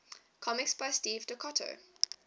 comics by steve ditko